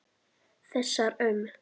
Þessar um